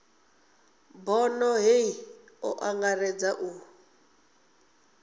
bono hei o angaredza u